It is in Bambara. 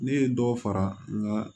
Ne ye dɔ fara nka